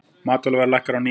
Matvælaverð lækkar á ný